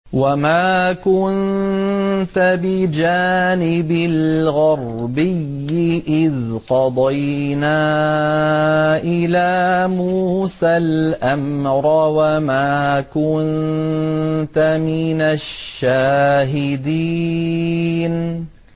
وَمَا كُنتَ بِجَانِبِ الْغَرْبِيِّ إِذْ قَضَيْنَا إِلَىٰ مُوسَى الْأَمْرَ وَمَا كُنتَ مِنَ الشَّاهِدِينَ